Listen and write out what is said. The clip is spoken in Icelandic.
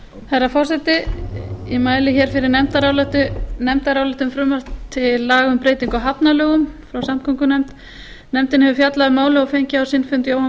herra forseti ég mæli hér fyrir nefndaráliti um frumvarp til laga um breytingu á hafnalögum frá samgöngunefnd nefndin hefur fjallað um málið og fengið á sinn fund jóhann guðmundsson